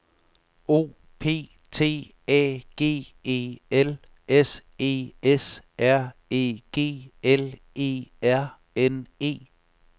O P T A G E L S E S R E G L E R N E